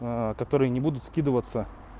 которые не будут скидываться